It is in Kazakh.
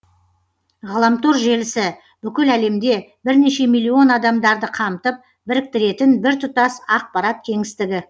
ғаламтор желісі бүкіл әлемде бірнеше миллион адамдарды қамтып біріктіретін біртұтас ақпарат кеңістігі